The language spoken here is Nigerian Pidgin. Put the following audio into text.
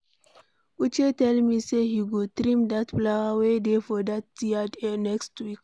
Uche tell me say he go trim dat flower wey dey for yard next week.